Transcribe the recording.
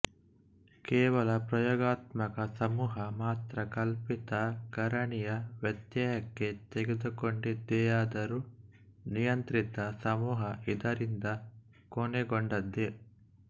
ಕೇವಲ ಪ್ರಯೋಗಾತ್ಮಕ ಸಮೂಹ ಮಾತ್ರ ಕಲ್ಪಿತ ಕಾರಣಿಯ ವ್ಯತ್ಯಯಕ್ಕೆ ತೆರೆದುಕೊಂಡಿದೆಯಾದರೂ ನಿಯಂತ್ರಿತ ಸಮೂಹ ಇದರಿಂದ ಕೊನೆಗೊಂಡದೆ